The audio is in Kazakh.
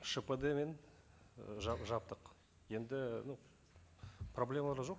шпд мен ы жаптық енді ну проблемалар жоқ